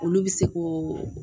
Olu bɛ se ko